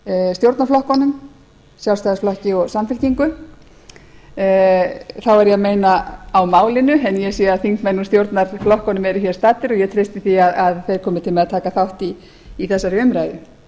stjórnarflokkunum sjálfstæðisflokki og samfylkingu þá er ég að meina á mál en ég sé að þingmenn úr stjórnarflokkunum eru hér staddir og ég treysti því að þeir komi til með að taka þátt í þessari umræðu